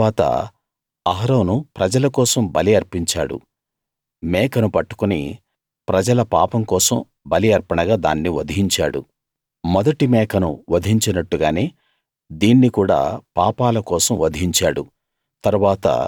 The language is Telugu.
తరువాత అహరోను ప్రజల కోసం బలి అర్పించాడు మేకను పట్టుకుని ప్రజల పాపం కోసం బలి అర్పణగా దాన్ని వధించాడు మొదటి మేకను వధించినట్టుగానే దీన్ని కూడా పాపాల కోసం వధించాడు